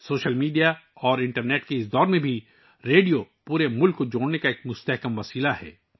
social media اور internet کے اس دور میں بھی ریڈیو پورے ملک کو جوڑنے کا ایک طاقتور ذریعہ ہے